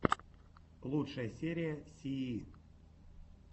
лучшая серия сии